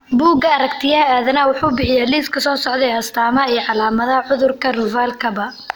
Bugga Aaragtiyaha Aadanaha wuxuu bixiyaa liiska soo socda ee astamaha iyo calaamadaha cudurka Ruvalcaba.